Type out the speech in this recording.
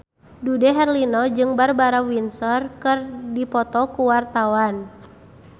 Dude Herlino jeung Barbara Windsor keur dipoto ku wartawan